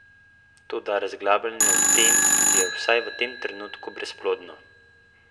Toda razglabljanje o tem je, vsaj v tem trenutku, brezplodno.